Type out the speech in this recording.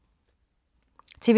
TV 2